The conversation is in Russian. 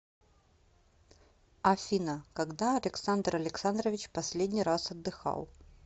афина когда александр александрович последний раз отдыхал